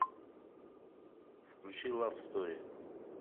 включи лав стори